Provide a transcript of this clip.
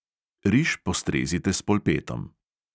Riž postrezite s polpetom.